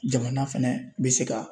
Jamana fɛnɛ bɛ se ka